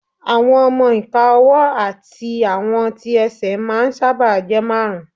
Àwọn ọmọ-ìka ọwọ́ àti àwọn tí ẹsẹ̀ máà ń sáábà jẹ́ márùn